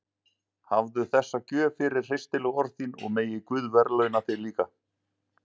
Hafðu þessa gjöf fyrir hreystileg orð þín og megi Guð verðlauna þig líka.